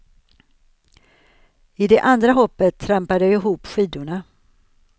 I det andra hoppet trampade jag ihop skidorna.